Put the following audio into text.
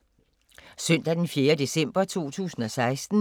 Søndag d. 4. december 2016